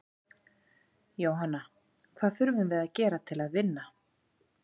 Jóhanna: Hvað þurfum við að gera til að vinna?